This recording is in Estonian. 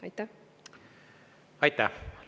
Aitäh!